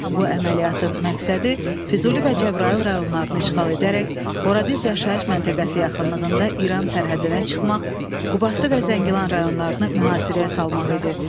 Bu əməliyyatın məqsədi Füzuli və Cəbrayıl rayonlarını işğal edərək Horadiz yaşayış məntəqəsi yaxınlığında İran sərhədinə çıxmaq, Qubadlı və Zəngilan rayonlarını mühasirəyə salmaq idi.